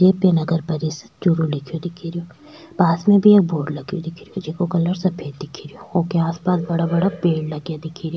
ये पे नगर परिसर चूरू लिखो दिखे रो पास में भी एक बोर्ड लगा दिखे रो जेका कलर सफ़ेद दिखे रो ओके आस पास बड़ा बडा पेड़ लगा दिखे रो।